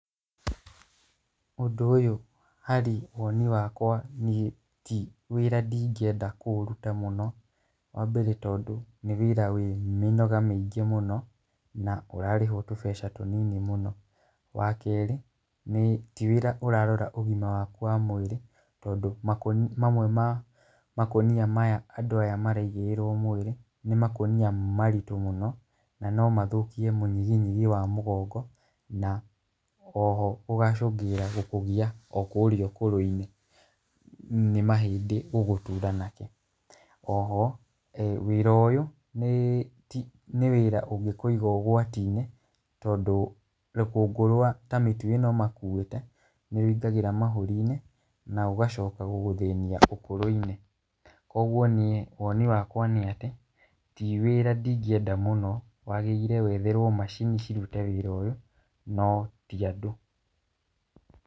Ũndũ ũyũ harĩ woni wakwa ti wĩra ingĩenda kũũruta mũno, wa mbere, nĩ tondũ nĩ wĩra wĩ mĩnoga mĩingĩ mũno, na ũrarĩhwo tũbeca tũnini mũno, wakerĩ, ti wĩra ũrarora ũgima waku wa mwĩrĩ , tondũ makũ makunia mamwe maya maraigĩrĩrwo mwĩrĩ , nĩ makunia maritũ mũno na no mathũkie mũnyiginyigi wa mũgongo, na oho ũgacũngĩrĩria gũkũgia o kũrĩa ũkũrũ-inĩ, nĩ mahĩndĩ gũgũtura, oho wĩra ũyũ ti nĩ wĩra ũngĩkũiga ũgwati-inĩ, tondũ rũkũngũ rwa ta mĩtu ĩno makũĩte , nĩ wĩingĩraga mahũri-inĩ, na ũgacoka gũgũthĩnia ũkũrũ-inĩ, kugwo niĩ woni wakwa nĩ atĩ ti wĩra ingĩenda mũno, wagĩrĩire wetherwo macini cirute wĩra ũyũ no ti andũ.